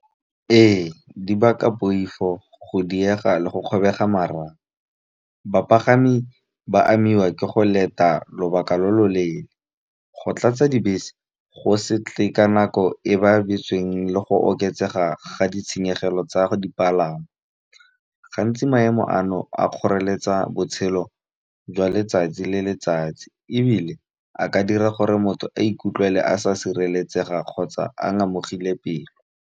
Ee di baka poifo go diega le go kgobega . Bapagami ba amiwa ke go leta lobaka lo lo leele, go tlatsa dibese go se tle ka nako e ba beetsweng le go tseega ga ditshenyegelo tsa go dipalangwa. Gantsi maemo ano a kgoreletsa botshelo jwa letsatsi le letsatsi, ebile a ka dira gore motho a ikutlwele a sa sireletsega kgotsa a ngamogile pelo.